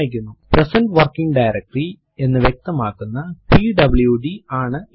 present working directory എന്ന് വ്യക്തമാക്കുന്ന PWD ആണ് ഇത്